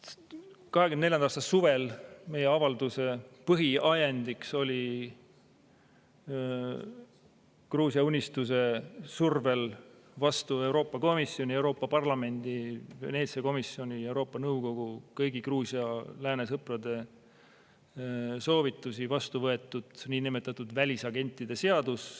2024. aasta suvel meie avalduse põhiajendiks oli Gruusia Unistuse survel vastu Euroopa Komisjoni, Euroopa Parlamendi, Veneetsia komisjoni ja Euroopa Nõukogu, vastu kõigi Gruusia lääne sõprade soovitusi vastu võetud niinimetatud välisagentide seadus.